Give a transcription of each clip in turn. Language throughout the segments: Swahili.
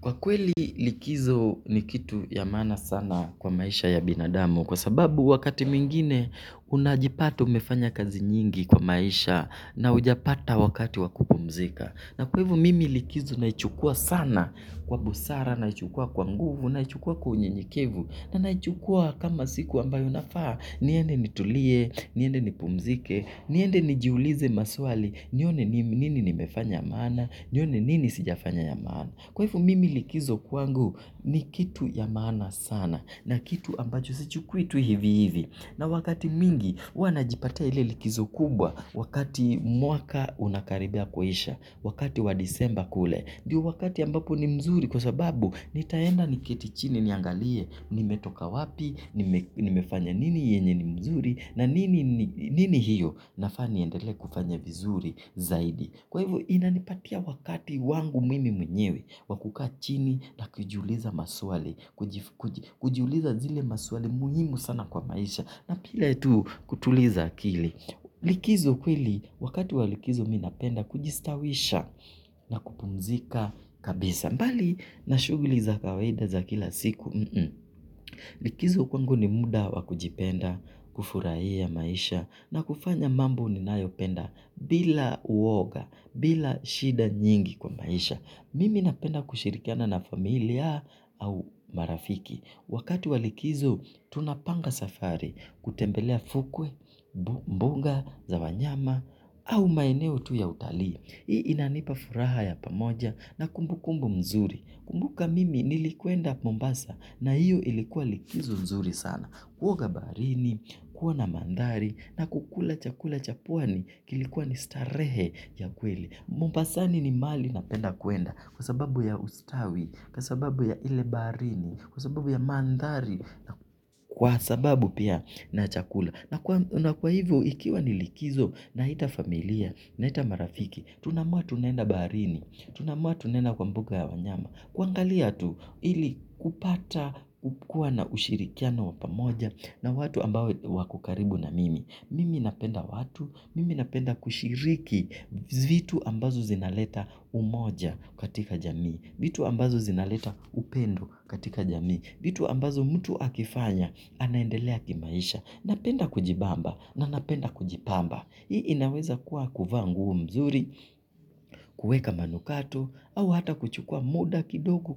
Kwa kweli likizo ni kitu ya maana sana kwa maisha ya binadamu kwa sababu wakati mwingine unajipata umefanya kazi nyingi kwa maisha na hujapata wakati wakupumzika. Na kwa hivyo mimi likizo naichukua sana kwa busara, naichukua kwa nguvu, naichukua kwa unyenyekevu na naichukua kama siku ambayo nafaa niende nitulie, niende nipumzike, niende njiulize maswali nione nini nimefanya ya maana, nione nini sijafanya ya maana. Kwa hivyo mimi likizo kwangu ni kitu ya maana sana na kitu ambacho sichukui tu hivi hivi. Na wakati mwingi huwa na jipatia ile likizo kubwa wakati mwaka unakaribia kuisha, wakati wa disemba kule. Ndio wakati ambapo ni mzuri kwa sababu nitaenda ni keti chini niangalie nimetoka wapi, nimefanya nini yenye ni mzuri na nini hiyo nafaa niendelee kufanya vizuri zaidi. Kwa hivyo inanipatia wakati wangu mimi mwenyewe wa kukaa chini na kujiuliza maswali. Kujiuliza zile maswali muhimu sana kwa maisha. Na pia ile tu kutuliza akili. Likizo kweli wakati walikizo mimi napenda kujistawisha na kupumzika kabisa. Mbali na shughuli za kawaida za kila siku. Likizo kwangu ni muda wa kujipenda kufurahia maisha. Na kufanya mambo ni nayopenda bila uoga, bila shida nyingi kwa maisha. Mimi napenda kushirikiana na familia au marafiki. Wakati walikizo, tunapanga safari, kutembelea fukwe, mbunga, za wanyama, au maeneo tu ya utalii. Hii inanipa furaha ya pamoja na kumbukumbu mzuri. Kumbuka mimi nilikwenda Mombasa na hiyo ilikuwa likizo nzuri sana. Kuoga baharini, kuwa na mandhari na kukula chakula cha pwani kilikuwa ni starehe ya kweli. Mombasani ni mahali napenda kwenda kwa sababu ya ustawi, kwa sababu ya ile baharini, kwa sababu ya mandhari na kwa sababu pia na chakula. Na kwa hivyo ikiwa ni likizo na ita familia, na ita marafiki, tunamua tunaenda baharini, tunaamua tunaenda kwa mbuga ya wanyama. Kuangalia tu ili kupata kukua na ushirikiano wa pamoja na watu ambao wako karibu na mimi. Mimi napenda watu, mimi napenda kushiriki vitu ambazo zinaleta umoja katika jamii, vitu ambazo zinaleta upendo katika jamii, vitu ambazo mtu akifanya anaendelea kimaisha. Napenda kujibamba na napenda kujipamba. Hii inaweza kuwa kuvaa nguo mzuri, kuweka manukato, au hata kuchukua muda kidogo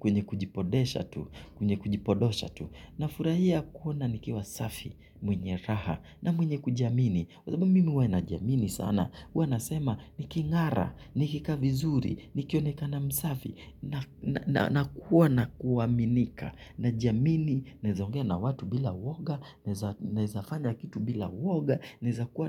kwenye kujipodesha tu, kwenye kujipodosha tu. Na furahia kuona nikiwa safi mwenye raha na mwenye kujiamini kwa sababu mimi huwa na jiamini sana huwa nasema nikingara, nikikaa vizuri, nikionekana msafi na kuwa na kuaminika na jiamini, naeza ongea na watu bila uwoga naeza fanya kitu bila uwoga naweza kuwa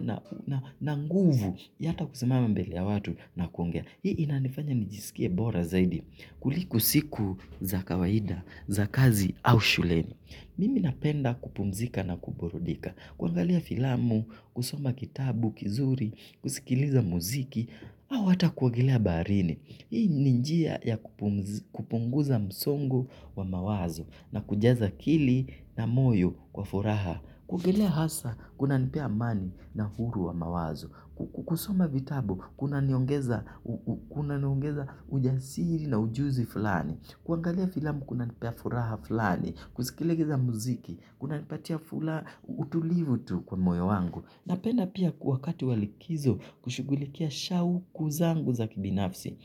na nguvu ya ata kusimama mbele ya watu na kuongea hii inanifanya nijisikie bora zaidi kuliko siku za kawaida, za kazi au shuleni. Mimi napenda kupumzika na kuburudika. Kuangalia filamu, kusoma kitabu, kizuri, kusikiliza muziki, au hata kuogelea baharini. Hii ni njia ya kupunguza msongo wa mawazo na kujaza akili na moyo kwa furaha. Kuogelea hasa, kunanipea amani na uhuru wa mawazo. Kusoma vitabu, kuna niongeza ujasiri na ujuzi fulani. Kuangalia filamu, kuna nipea furaha fulani. Kusikiliza muziki, kuna nipatia furaha utulivu tu kwa moyo wangu. Napenda pia kwa wakati wa likizo kushugulikia shauku zangu za kibinafsi.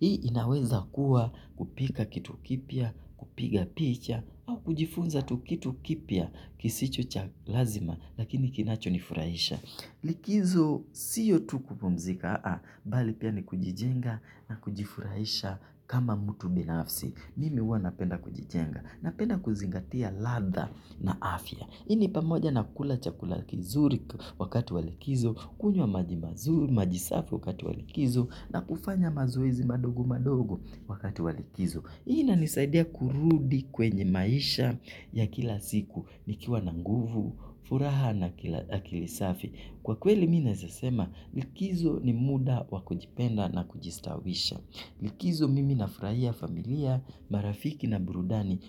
Hii inaweza kuwa kupika kitu kipya, kupiga picha, au kujifunza tu kitu kipya kisicho cha lazima lakini kinacho nifurahisha. Likizo siyo tu kupumzika, bali pia ni kujijenga na kujifurahisha kama mutu binafsi. Mimi huwa napenda kujijenga. Napenda kuzingatia ladha na afya. Hii ni pamoja na kula chakula kizuri wakati walikizo, kunywa maji mazuri, maji safi wakati wa likizo, na kufanya mazoezi madogo madogo wakati wa likizo. Ina nisaidia kurudi kwenye maisha ya kila ziku, nikiwa na nguvu, furaha na akili safi. Kwa kweli mimi neaza sema likizo ni muda wakujipenda na kujistawisha. Likizo mimi na furahia familia, marafiki na burudani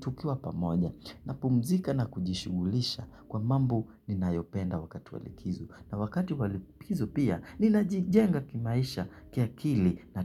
tukiwa pamoja na pumzika na kujishugulisha kwa mambo ninaayopenda wakati walikizo. Na wakati walikizo pia ninajijenga kimaisha ki akili na ta.